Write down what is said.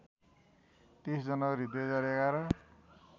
३० जनवरी २०११